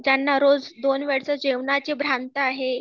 ज्याना रोज दोन वेळच्या जेवणाची भ्रांत आहे